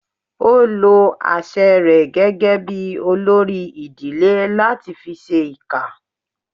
Ó lo àṣẹ rẹ̀ gẹ́gẹ́ bí olórí ìdílé láti fi ṣẹ ìkà